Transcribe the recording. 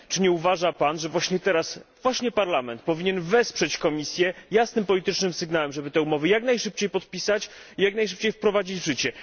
Czy nie uważa Pan, że właśnie teraz, właśnie Parlament, powinien wesprzeć Komisję jasnym politycznym sygnałem, żeby te umowy jak najszybciej podpisać i jak najszybciej wprowadzić w życie?